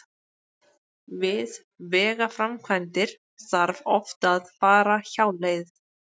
Við vegaframkvæmdir þarf oft að fara hjáleið.